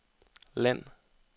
land